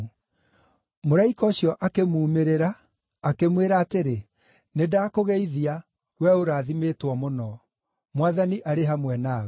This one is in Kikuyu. Mũraika ũcio akĩmuumĩrĩra, akĩmwĩra atĩrĩ, “Nĩndakũgeithia, wee ũrathimĩtwo mũno! Mwathani arĩ hamwe nawe.”